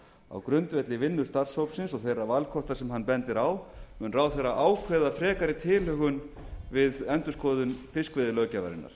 á grundvelli vinnu starfshópsins og þeirra valkosta sem hann bendir á mun ráðherra ákveða frekari tilhögun við endurskoðun fiskveiðilöggjafarinnar